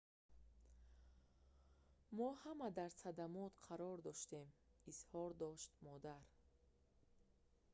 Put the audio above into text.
мо ҳама дар садамот қарор доштем изҳор намуд модар